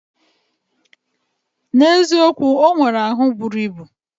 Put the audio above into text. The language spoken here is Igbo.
Na eziokwu, onwere ahu buru ibu.